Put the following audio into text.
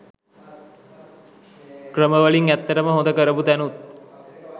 ක්‍රම වලින් ඇත්තටම හොඳ කරපු තැනුත්